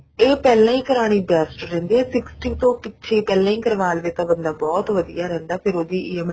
ਤੇ ਉਹ ਪਹਿਲਾਂ ਹੀ ਕਰਾਉਣੀ best ਰਹਿੰਦੀ ਹੈ sixty ਤੋਂ ਪਿੱਛੇ ਪਹਿਲਾ ਹੀ ਕਰਵਾ ਲਵੇ ਬੰਦਾ ਬਹੁਤ ਵਧੀਆ ਰਹੀਦਾ ਫ਼ੇਰ ਉਹਦੀ EMI